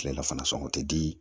Kilelafana sɔngɔ te di